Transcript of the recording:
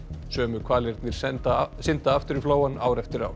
sömu hvalirnir synda synda aftur í flóann ár eftir ár